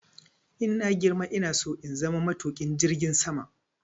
Idan na girma ina so in zama matuƙin jirgin ruwa.